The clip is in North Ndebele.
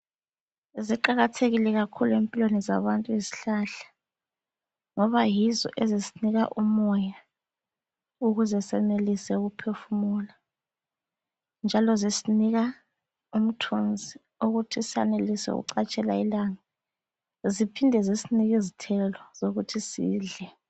Ziqakathekile kakhulu empilweni zabantu izihlahla ngoba yizo ezisinika umoya ukuze senelise ukuphefumula njalo zisinika umthunzi wokuthi sanelise ukucatshela ilanga ziphinde zisinike izithelo zokuthi sidle.